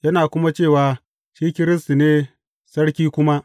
Yana kuma cewa, shi Kiristi ne, sarki kuma.